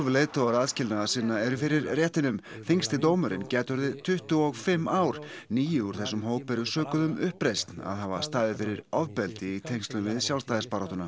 leiðtogar aðskilnaðarsinna eru fyrir réttinum þyngsti dómurinn gæti orðið tuttugu og fimm ár níu úr þessum hóp eru sökuð um uppreisn að hafa staðið fyrir ofbeldi í tengslum við sjálfstæðisbaráttuna